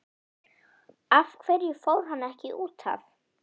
Af hverju fór hann ekki útaf?